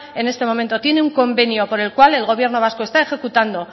en este momento tiene un convenio por el cual el gobierno vasco está ejecutando